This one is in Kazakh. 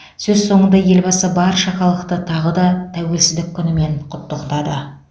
сөз соңында елбасы барша халықты тағы да тәуелсіздік күнімен құттықтады